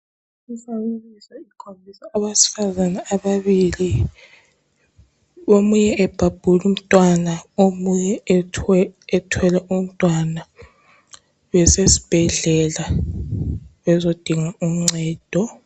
Umfanekiso okhombisa abesifazana ababili, omunye ebhabhulu mntwana, omunye ethwele umntwana besesibhedlela bezo dinguncedo.